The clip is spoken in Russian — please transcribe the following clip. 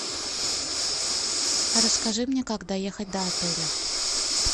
расскажи мне как доехать до отеля